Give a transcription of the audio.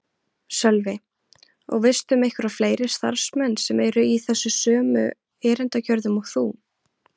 Sölvi: Og veistu um einhverja fleiri starfsmenn sem eru í þessu sömu erindagjörðum og þú?